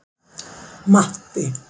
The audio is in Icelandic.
Matti